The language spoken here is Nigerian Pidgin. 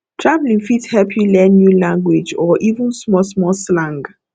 travel fit help you learn new language or even small small slang